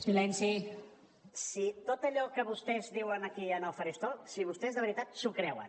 si tot allò que vostès diuen aquí al faristol si vostès de veritat s’ho creuen